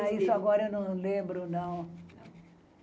Ah, isso agora eu não lembro, não.